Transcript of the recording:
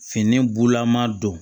Fini bulama don